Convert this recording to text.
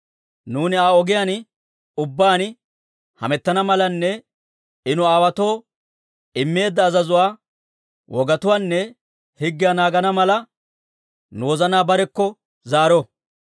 Nuuni Aa ogiyaan ubbaan hamettana malanne I nu aawaatoo immeedda azazuwaa, wogatuwaanne higgiyaa naagana mala, nu wozanaa barekko zaaro.